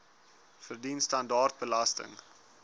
verdien standaard belasting